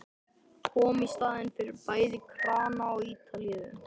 Kom í staðinn fyrir bæði krana og talíu.